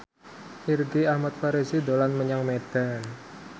Irgi Ahmad Fahrezi dolan menyang Medan